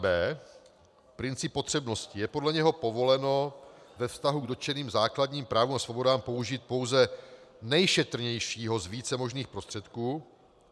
b) princip potřebnosti, že podle něho povoleno ve vztahu k dotčeným základním právům a svobodám použít pouze nejšetrnějšího z více možných prostředků;